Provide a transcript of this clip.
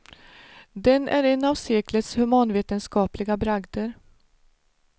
Den är en av seklets humanvetenskapliga bragder.